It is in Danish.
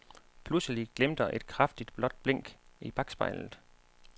Pludselig glimter et kraftig blåt blink i bakspejlet.